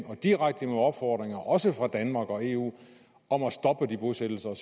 af direkte opfordringer og også fra danmark og eu om at stoppe de bosættelser og